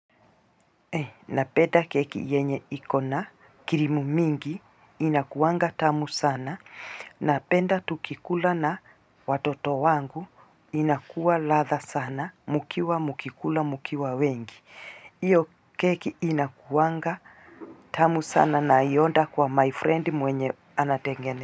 Napenda keki yenye ikona, kirimu mingi, inakuwanga tamu sana, napenda tukikula na watoto wangu, inakuwa latha sana, mukiwa mkikula mukiwa wengi. Iyo keki inakuwanga tamu sana, nai order kwa my friend mwenye anatengene.